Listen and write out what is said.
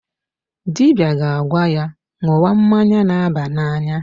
Dibia ga-agwa ya ṅụwa mmanya na-aba n'anya.